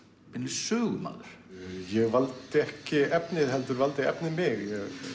sögumaður ég valdi ekki efnið heldur valdi efnið mig